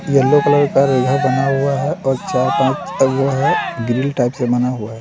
Yellow colour का रेखा बना हुआ है और है और चार पाँच वो है ग्रिल टाइप से बना हुआ है।